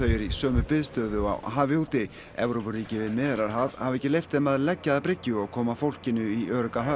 eru í sömu biðstöðu á hafi úti Evrópuríki við Miðjarðarhaf hafa ekki leyft þeim að leggja að bryggju og koma fólkinu í örugga höfn